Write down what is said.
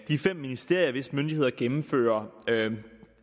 de fem ministerier hvis myndigheder gennemfører